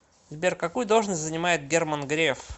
сбер какую должность занимает герман греф